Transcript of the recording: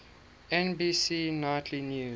nbc nightly news